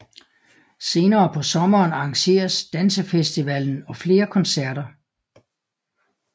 Senere på sommeren arrangeres dansefestivalen og flere koncerter